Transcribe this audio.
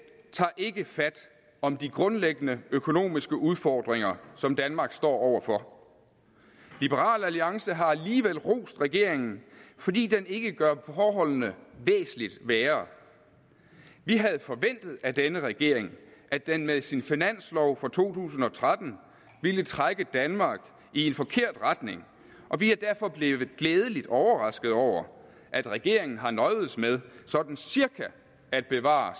tager ikke fat om de grundlæggende økonomiske udfordringer som danmark står over for liberal alliance har alligevel rost regeringen fordi den ikke gør forholdene væsentlig værre vi havde forventet af denne regering at den med sin finanslov for to tusind og tretten ville trække danmark i en forkert retning og vi er derfor blevet glædeligt overrasket over at regeringen har nøjedes med sådan cirka at bevare